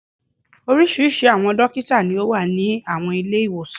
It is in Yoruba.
Oríṣiríṣi àwọn dókítà ni ó wà ní àwọn Ilé-ìwòsàn